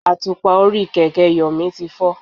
Àtùpà orí kẹ̀kẹ́ Yomi ti fọ́.